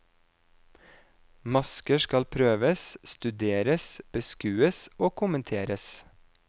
Masker skal prøves, studeres, beskues og kommenteres.